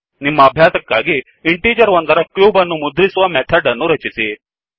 ನಿಮ್ಮ ಅಭ್ಯಾಸಕ್ಕಾಗಿ ಇಂಟಿಜರ್ ಒಂದರ ಕ್ಯೂಬ್ ಅನ್ನು ಮುದ್ರಿಸುವ ಮೆಥಡ್ ಅನ್ನು ರಚಿಸಿ